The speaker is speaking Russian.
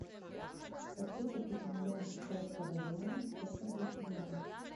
хочу купить миллион китайского юаня сколько будет в юанях